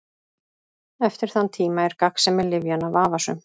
Eftir þann tíma er gagnsemi lyfjanna vafasöm.